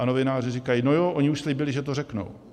A novináři říkají: No jo, oni už slíbili, že to řeknou.